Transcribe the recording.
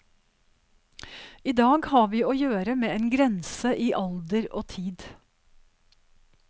I dag har vi å gjøre med en grense i alder og tid.